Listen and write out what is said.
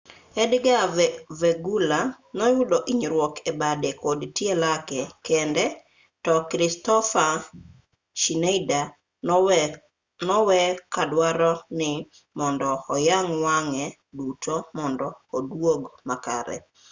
edgar veguilla noyudo hinyruok e bade kod tie lake kende to kristoffer schneider nowe kadwaro ni mondo oyang' wang'e duto mondo oduog makare